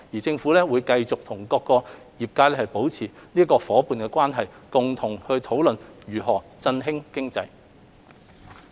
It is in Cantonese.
政府會繼續與各界保持夥伴關係，商討如何振興經濟。